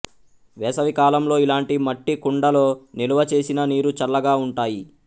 వేసవికాలంలో ఇలాంటి మట్టి కుండలో నిలవచేసిన నీరు చల్లగా ఉంటాయి